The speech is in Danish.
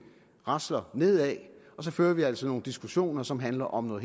rasler nedad og så fører vi altså nogle diskussioner som handler om noget